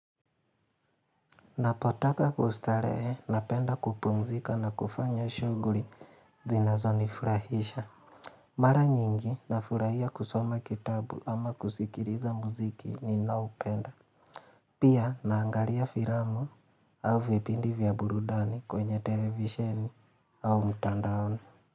Napotaka kustarehe napenda kupumzika na kufanya shughuli zinazonifurahisha. Mara nyingi nafurahia kusoma kitabu ama kuzikiliza mziki ninaopenda. Pia naangalia filamu au vipindi vya burudani kwenye televisheni au mtandaoni.